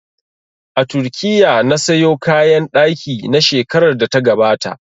A Turkiya na sayo kayan ɗaki na shekarar da ta gabata